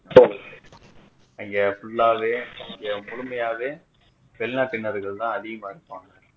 இங்க full ஆவே இங்க முழுமையாகவே வெளிநாட்டினார்கள் தான் அதிகமாக இருப்பாங்க